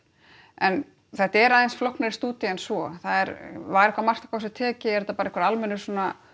en þetta er aðeins flóknari stúdía en svo það er var eitthvað mark á þessu tekið er þetta bara einhver almennur svona